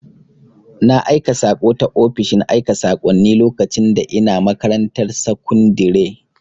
Na aika saƙo ta ofishin aika sakonni lokacin da ina makarantar sakundire